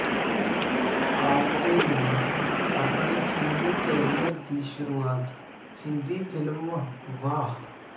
ਆਪਟੇ ਨੇ ਆਪਣੇ ਫ਼ਿਲਮੀ ਕੈਰੀਅਰ ਦੀ ਸ਼ੁਰੂਆਤ ਹਿੰਦੀ ਫ਼ਿਲਮ ਵਾਹ